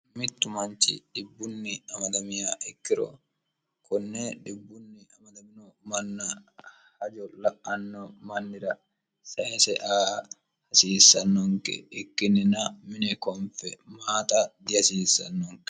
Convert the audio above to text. mittu manchi dhibbunni amadamiha ikkiro konne dhibbunni amadamino manna hajo la'anno mannira sayise aa hasiissannonke ikkinnina mine konfe maaxa dihasiissannonke